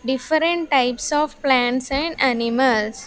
Different types of plants and animals.